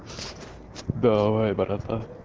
давай братан